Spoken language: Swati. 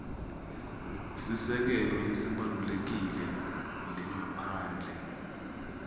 sisekelo lesibalulekile lengaphandle